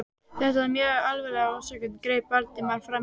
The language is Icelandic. Þetta var mjög alvarleg ásökun- greip Valdimar fram í.